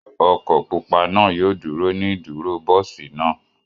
Ọkọ̀ pupa naa yoo duro ni iduro bọsi naa.